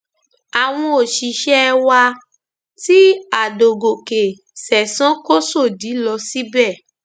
àwọn òṣìṣẹ wa tí àdògòkè ṣẹsan kó sòdí lọ síbẹ